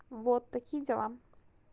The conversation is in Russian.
вот такие дела